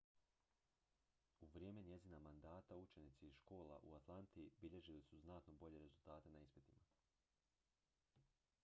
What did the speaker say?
u vrijeme njezina mandata učenici iz škola u atlanti bilježili su znatno bolje rezultate na ispitima